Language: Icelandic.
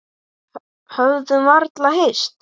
Höfðum varla hist.